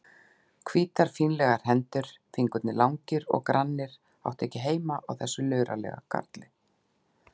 Hvítar fínlegar hendur, fingurnir langir og grannir, áttu ekki heima á þessum luralega karli.